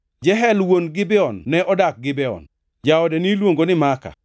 Jeyel wuon Gibeon ne odak Gibeon. Jaode niluongo ni Maaka,